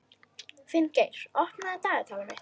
Finngeir, opnaðu dagatalið mitt.